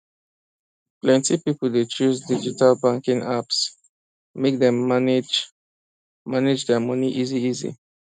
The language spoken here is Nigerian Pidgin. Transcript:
plenty people dey choose digital banking apps make dem manage their money easyeasy